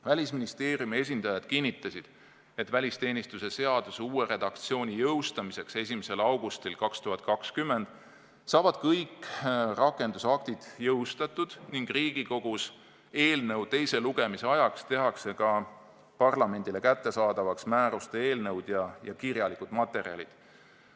Välisministeeriumi esindajad kinnitasid, et välisteenistuse seaduse uue redaktsiooni jõustamiseks 1. augustil 2020 saavad kõik rakendusaktid jõustatud ning Riigikogus eelnõu teise lugemise ajaks tehakse ka parlamendile kättesaadavaks määruste eelnõud ja kirjalikud materjalid.